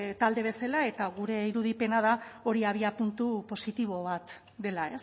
talde bezala eta gure irudipena da hori abiapuntu positibo bat dela